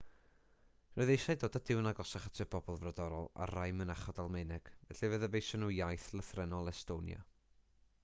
roedd eisiau dod â duw'n agosach at y bobl frodorol ar rai mynachod almaeneg felly fe ddyfeision nhw iaith lythrennol estonia